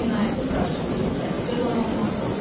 Cinayətin qarşılığı isə cəzalanmaqdır.